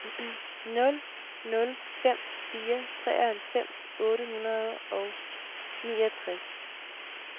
nul nul fem fire treoghalvfems otte hundrede og niogtres